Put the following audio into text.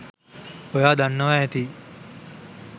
ඔයා දන්නවා ඇති